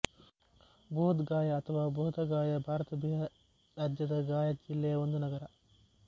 ಬೋಧ್ ಗಯಾ ಅಥವಾ ಬೋಧಗಯಾ ಭಾರತದ ಬಿಹಾರ್ ರಾಜ್ಯದ ಗಯಾ ಜಿಲ್ಲೆಯ ಒಂದು ನಗರ